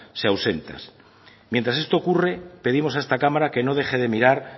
se ausentan mientras esto ocurre pedimos a esta cámara que no deje de mirar